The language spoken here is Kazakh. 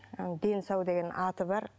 дені сау деген аты бар